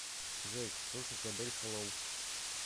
джой слушать адель хэллоу